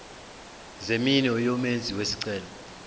zeminwe yomenzi wesicelo